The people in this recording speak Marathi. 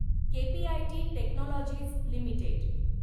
KPIT technologies limited